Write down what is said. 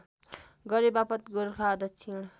गरेबापत गोरखा दक्षिण